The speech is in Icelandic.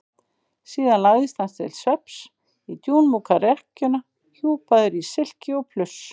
Síðan lagðist hann til svefns í dúnmjúka rekkjuna hjúpaður í silki og pluss.